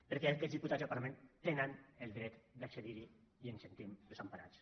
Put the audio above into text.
perquè aquests diputats del parlament tenen el dret d’accedir hi i ens sentim desemparats